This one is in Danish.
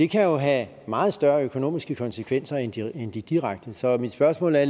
kan jo have meget større økonomiske konsekvenser end de end de direkte så mit spørgsmål er